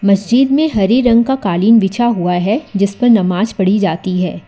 मस्जिद में हरे रंग का कालीन बिछा हुआ है जिस पर नमाज पढ़ी जाती है।